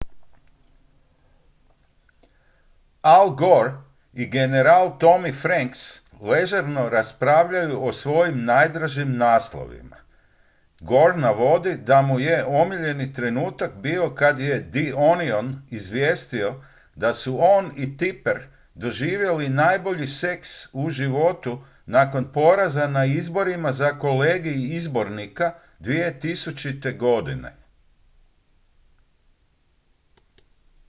al gore i general tommy franks ležerno raspravljaju o svojim najdražim naslovima gore navodi da mu je omiljeni trenutak bio kad je the onion izvijestio da su on i tipper doživjeli najbolji seks u životu nakon poraza na izborima za kolegij izbornika 2000. godine